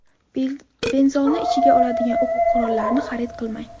Benzolni ichiga oladigan o‘quv-qurollarni xarid qilmang.